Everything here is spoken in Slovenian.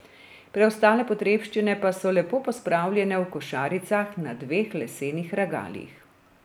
Preostale potrebščine pa so lepo pospravljene v košaricah na dveh lesenih regalih.